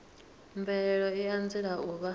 mvelelo i anzela u vha